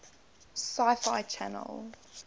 sci fi channel